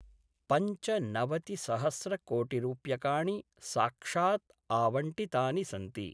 पञ्चनवतिसहस्रकोटिरुप्यकाणि साक्षात् आवंटितानि सन्ति।